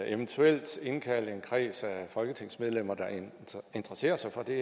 eventuelt indkalde en kreds af folketingsmedlemmer der interesserer sig for det